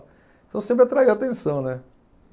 Então sempre atraiu atenção, né?